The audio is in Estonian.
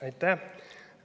Aitäh!